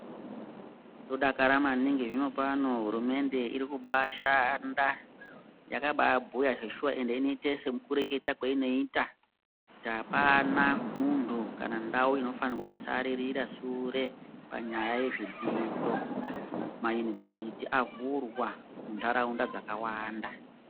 Tinodakara maningi zvinopano hurumende iri kubaashanda yakabaabhuya zveshuwa ende inoite sekurekete kweinoita kuti apana muntu kana ndau inofanira kusarira sure panyaya yezvidzidzo. Mayunivhesiti avhurwa kundau dzakawanda.